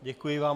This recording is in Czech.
Děkuji vám.